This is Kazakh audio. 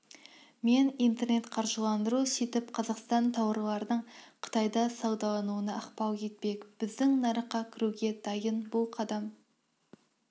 мен интернет-қаржыландыру сөйтіп қазақстандық тауарлардың қытайда саудалануына ықпал етпек біздің нарыққа кіруге дайын бұл қадам